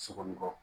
Sokɔni kɔ